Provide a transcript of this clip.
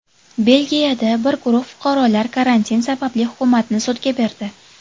Belgiyada bir guruh fuqarolar karantin sababli hukumatni sudga berdi.